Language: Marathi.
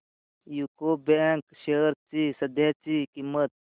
यूको बँक शेअर्स ची सध्याची किंमत